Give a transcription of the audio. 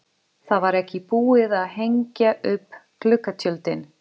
Það var ekki búið að hengja upp gluggatjöldin.